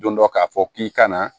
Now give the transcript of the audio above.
Don dɔ k'a fɔ k'i kana